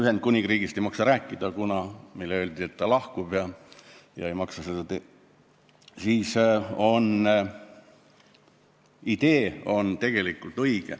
Ühendkuningriigist ei maksa rääkida, kuna meile öeldi, et ta lahkub ja ei maksa teda mainida.